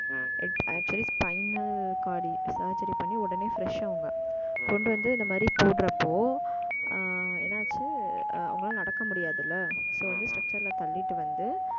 actually final corridor surgery பண்ணி, உடனே, fresh அவங்க, கொண்டு வந்து, இந்த மாரி, போடுறப்போ, ஆஹ் என்னாச்சு அவங்களால, நடக்க முடியாதுல்ல so வந்து, structure ல தள்ளிட்டு வந்து,